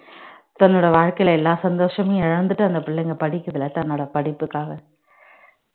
தன்னோட வாழ்க்கையில எல்லா சந்தோஷமையும் இழந்துட்டு அந்த பிள்ளைங்க படிக்குதுல தன்னோட படிப்புக்காக